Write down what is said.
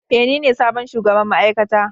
Ee, nine sabon shugaban ma'aikata.